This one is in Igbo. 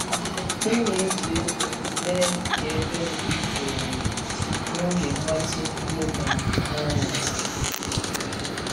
M na-eji egwu mee ka ebe m dị jụụ n’oge mgbatị yoga m n’anyasị.